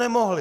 Nemohli!